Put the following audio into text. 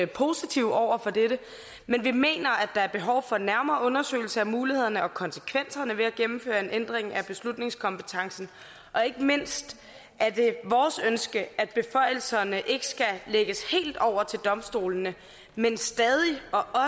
positive over for dette men vi mener at der er behov for en nærmere undersøgelse af mulighederne og konsekvenserne ved at gennemføre en ændring af beslutningskompetencen ikke mindst er det vores ønske at beføjelserne ikke skal lægges helt over til domstolene men stadig